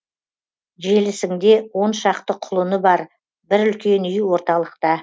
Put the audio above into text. желісіңде он шақты құлыны бар бір үлкен үй орталықта